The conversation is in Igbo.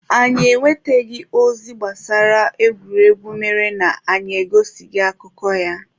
Anyị enwetaghị ozi gbasara egwuregwu mere na anyị egosighị akụkọ ya.